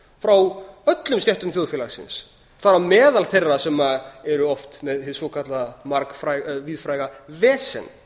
frá öllum stéttum þjóðfélagsins þar á meðal þeirra sem eru oft með hið svokallaða víðfræga vesen